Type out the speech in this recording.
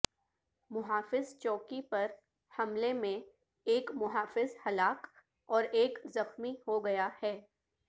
محافظ چوکی پر حملے میں ایک محافظ ہلاک اور ایک زخمی ہوگیا ہے